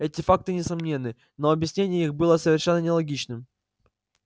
эти факты несомненны но объяснение их было совершенно нелогичным